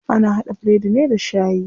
Ana haɗa biredi ne da shayi.